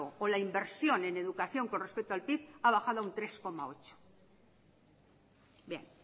o la inversión en educación con respecto al pib ha bajado un tres coma ocho bien